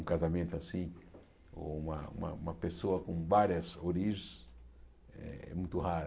Um casamento assim, ou uma uma uma pessoa com várias origens é muito rara.